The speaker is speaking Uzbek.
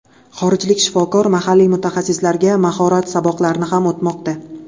Xorijlik shifokor mahalliy mutaxassislarga mahorat saboqlarini ham o‘tmoqda.